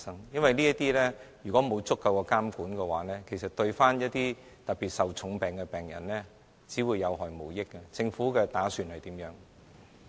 因為如果在這方面沒有足夠的監管，其實對一些患重病的病人，只會有害無益，政府打算怎樣做？